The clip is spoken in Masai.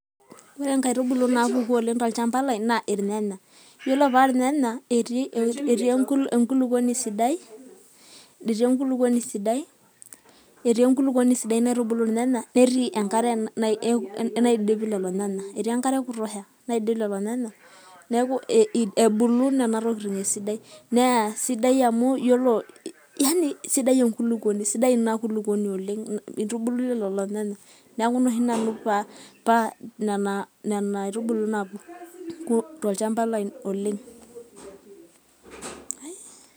Ore inkaitubulu naapuku oleng tolchamba lai naa ilnyanya, iyiolo paa inyanya naa etii enkulupuoni sidai naitubulu ilnyanya, netii enkare naidip ilolo nyanya etii ekutosha, neaku ebulu nena tokiting' esidai, neaku nene aitubulu naabulu tolchamba lai oleng.